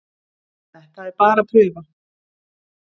Þetta er bara prufa